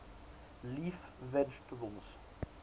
leaf vegetables